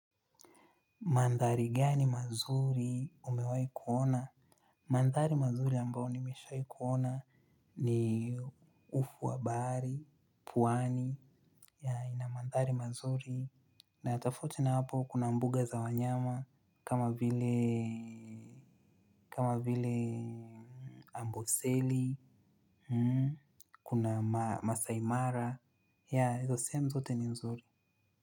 Mandhari gani mazuri umewahi kuona? Mandhari mazuri ambao nimeshai kuona ni ufu wa bahari, pwani Yeah ina mandhari mazuri na ya tofauti na hapo kuna mbuga za wanyama kama vile kama vile amboseli kuna masaimara yeah izo sehemu zote ni nzuri.